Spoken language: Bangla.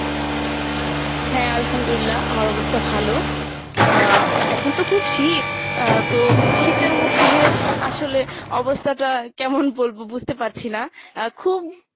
হ্যা আলহামদুলিল্লাহ, আমার অবস্থা ভালো। আহ এখন তো খুব শীত, আহ তো শীতের মধ্যে আসলে অবস্থাটা কেমন বলবো বুজতে পারছি না। আহ খুব